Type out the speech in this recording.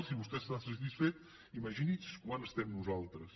si vostè està satisfet imagini’s quant ho estem nosaltres